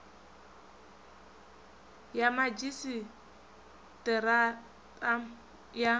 ya madzhisi ṱira ṱa ya